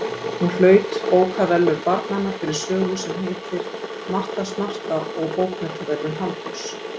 Hún hlaut Bókaverðlaun barnanna fyrir sögu sem heitir Marta smarta og Bókmenntaverðlaun Halldórs